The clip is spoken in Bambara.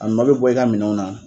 A nɔ be bɔ i ka minɛnw na.